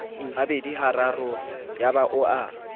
habedi hararo yaba o a